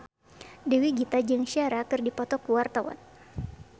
Dewi Gita jeung Ciara keur dipoto ku wartawan